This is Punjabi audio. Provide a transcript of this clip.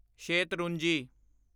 ਸ਼ੇਤਰੁੰਜੀ